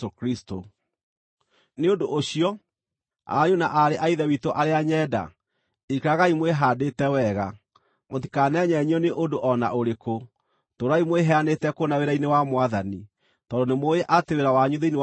Nĩ ũndũ ũcio, ariũ na aarĩ a Ithe witũ arĩa nyenda, ikaragai mwĩhaandĩte wega. Mũtikanenyenyio nĩ ũndũ o na ũrĩkũ. Tũũrai mwĩheanĩte kũna wĩra-inĩ wa Mwathani, tondũ nĩmũũĩ atĩ wĩra wanyu thĩinĩ wa Mwathani ti wa tũhũ.